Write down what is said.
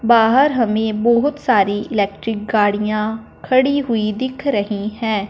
बाहर हमे बहोत सारी इलेक्ट्रिक गाड़ियां खड़ी हुई दिख रही है।